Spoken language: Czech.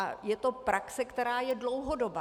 A je to praxe, která je dlouhodobá.